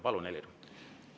Palun, Helir!